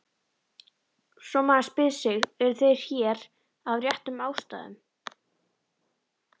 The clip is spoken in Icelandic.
Svo maður spyr sig: eru þeir hér af réttum ástæðum?